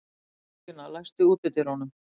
Þórstína, læstu útidyrunum.